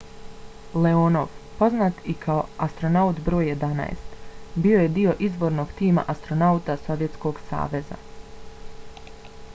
leonov poznat i kao astronaut br. 11 bio je dio izvornog tima astronauta sovjetskog saveza